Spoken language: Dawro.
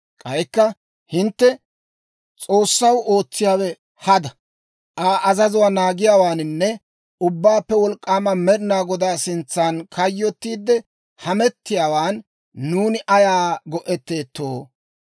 «K'aykka hintte, ‹S'oossaw ootsiyaawe hada. Aa azazuwaa naagiyaawaaninne Ubbaappe Wolk'k'aama Med'ina Godaa sintsan kayyottiide hamettiyaawan nuuni ayaa go"etteettoo?